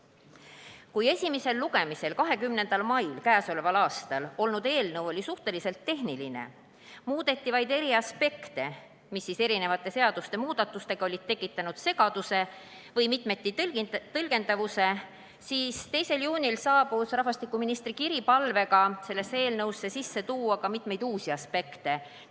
Kui k.a 20. mail esimesel lugemisel olnud eelnõu oli suhteliselt tehniline – muudeti vaid eri aspekte, mis siis erinevate seaduste muudatustega olid tekitanud segaduse või mitmeti tõlgendatavuse –, siis 2. juunil saabus rahvastikuministri kiri palvega tuua sellesse eelnõusse sisse mitmeid uusi aspekte.